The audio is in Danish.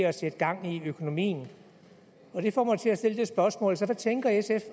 at sætte gang i økonomien det får mig til at stille spørgsmålet hvad tænker sf